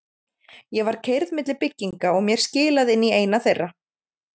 Ég var keyrð milli bygginga og mér skilað inn í eina þeirra.